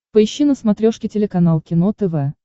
поищи на смотрешке телеканал кино тв